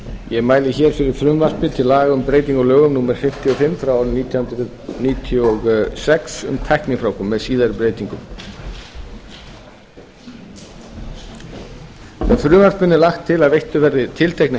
ég mæli hér fyrir frumvarpi til laga um breytingu á lögum númer fimmtíu og fimm nítján hundruð níutíu og sex um tæknifrjóvgun með síðari breytingum með frumvarpinu er lagt til að veittar verði tilteknar